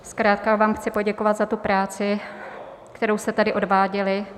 Zkrátka vám chci poděkovat za tu práci, kterou jste tady odváděli.